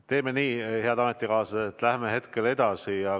Teeme nii, head ametikaaslased, et läheme hetkel edasi.